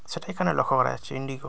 সেটা এখানে লক্ষ্য করা যাচ্ছে ইন্ডিগো ।